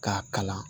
K'a kalan